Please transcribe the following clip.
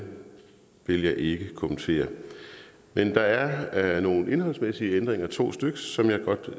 vil jeg ikke kommentere men der er nogle indholdsmæssige ændringer to styks som jeg godt